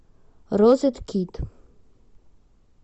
розет кит